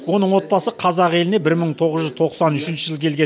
оның отбасы қазақ еліне бір мың тоғыз жүз тоқсан үшінші жылы келген